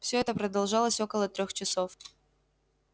всё это продолжалось около трёх часов